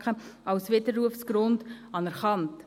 Franken als Widerrufsgrund anerkannt.